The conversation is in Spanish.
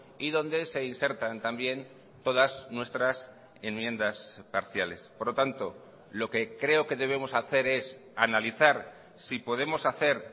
y donde se insertan también todas nuestras enmiendas parciales por lo tanto lo que creo que debemos hacer es analizar si podemos hacer